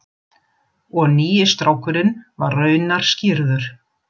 Og nýi strákurinn var raunar skírður.